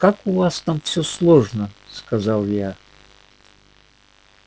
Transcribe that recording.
как у вас там всё сложно сказала я